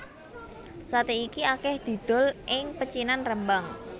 Saté iki akeh didol ing pecinan Rembang